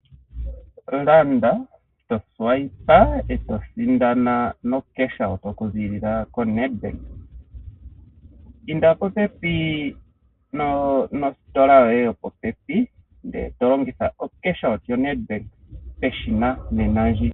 Tolanda, toswipe eto sindana noshimaliwa okuziilila ko NEDBANK. Inda popepi nositola yoye yo popepi, ndele to longitha oshimaliwa shoNEDBANK peshina nena ndji.